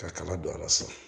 Ka kala don a la so